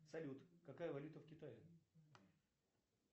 салют какая валюта в китае